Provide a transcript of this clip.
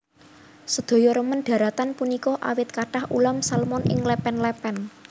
Sedaya remen dharatan punika awit kathah ulam salmon ing lèpèn lèpèn